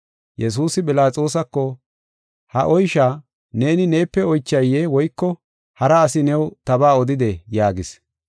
Yesuusi Philaxoosa, “Ha oysha neeni neepe oychaye woyko hara asi new tabaa odidee?” yaagis.